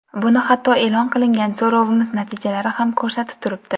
Buni hatto e’lon qilingan so‘rovimiz natijalari ham ko‘rsatib turibdi.